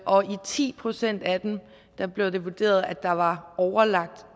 og i ti procent af dem blev det vurderet at der var overlagt